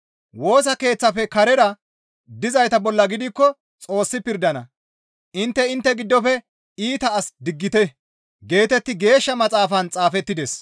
Woosa keeththafe karera dizayta bolla gidikko Xoossi pirdana, «Intte intte giddofe iita as diggite» geetetti Geeshsha Maxaafan xaafettides.